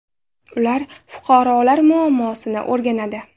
Ular fuqarolar muammosini o‘rganadi.